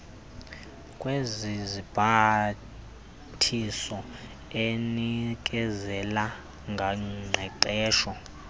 kwezibhambathiso enikezela ngoqeqesho